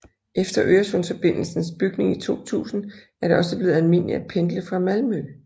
Efter Øresundsforbindelsens bygning i 2000 er det også blevet almindeligt at pendle fra Malmø